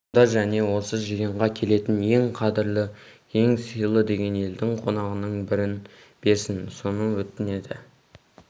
сонда және осы жиынға келетін ең қадірлі ең сыйлы деген елдің қонағының бірін берсін соны өтінеді